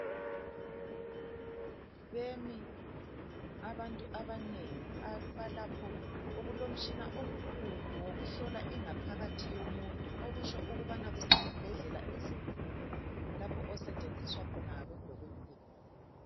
Bemi abantu abanengi abalapho okulomtshina omkhulu wokuhlola ingaphakathi yomuntu, okutsho ukubana kusesibhedlela esikhulu lapho osetshenziswa khona ngabodokotela.